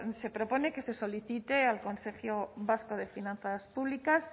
se propone que se solicite al consejo vasco de finanzas públicas